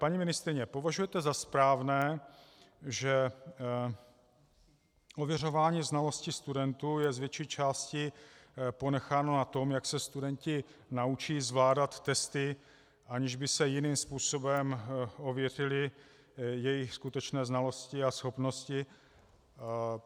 Paní ministryně, považujete za správné, že ověřování znalostí studentů je z větší části ponecháno na tom, jak se studenti naučí zvládat testy, aniž by se jiným způsobem ověřily jejich skutečné znalosti a schopnosti?